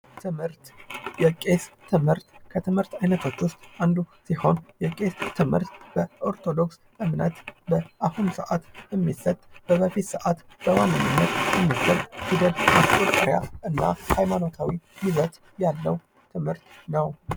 ትምህርት የቄስ ትምህርት ከትምህርት አይነቶች ዉስጥ አንዱ ሲሆን ይህ ትምህርት በኦርቶዶክስ እምነት በአሁኑ ሰዓት የሚሰጥ በበፊት ሰዓት የሚሰጥ እና ሀይማንታዊ ይዘት ያለዉ ትምህርት ነዉ።